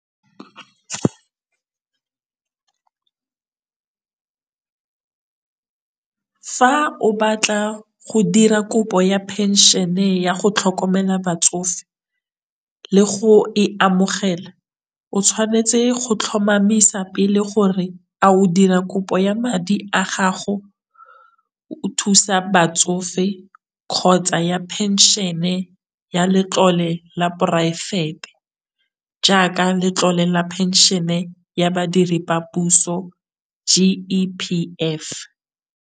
Fa o batla go dira kopo ya phenšene ya go tlhokomela batsofe le go e amogela o tshwanetse go tlhomamisa pele gore a o dira kopo ya madi a gago o thusa batsofe, kgotsa ya phenšene ya letlole la poraefete jaaka letlole la phenšhene ya badiri ba puso G_E_P_F.